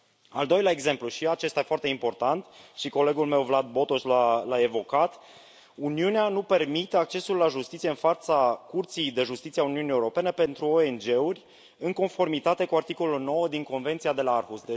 Al doilea exemplu, și acesta foarte important, iar colegul meu, Vlad Botoș, l a evocat, Uniunea nu permite accesul la justiție în fața Curții de Justiție a Uniunii Europene pentru ONG uri, în conformitate cu articolul 9 din Convenția de la Aarhus.